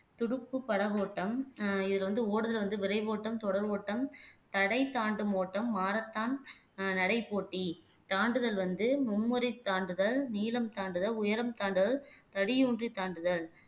துடுப்பு படகோட்டம் ஆஹ் இதுல வந்து ஓடுதல் வந்து விரைவோட்டம் தொடர் ஓட்டம் தடை தாண்டும் ஓட்டம் மாரத்தான் ஆஹ் நடை போட்டி தாண்டுதல் வந்து மும்முறை தாண்டுதல் நீளம் தாண்டுதல் உயரம் தாண்டுதல் தடி ஊன்றி தாண்டுதல்